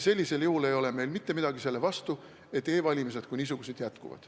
Sellisel juhul ei ole meil mitte midagi selle vastu, et e-valimised kui niisugused jätkuvad.